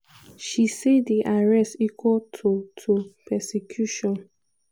she say di arrest equal to to persecution.